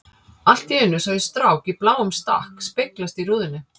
Allt í einu sá ég strák í bláum stakk speglast í rúðunni.